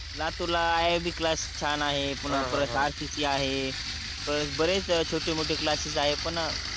लातूरला IIB class छान आहे पुन्हा RCC आहे पन बरेच छोटे मोठे क्लासेस आहे पन